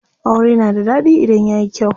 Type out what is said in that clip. Aure na da ɗaɗi idan yayi kyau.